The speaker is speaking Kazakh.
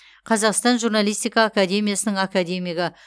қазақстан журналистика академиясының академигі